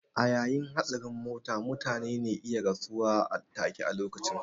A yayin hatsarin mota mutane ne iya rasuwa take a lokacin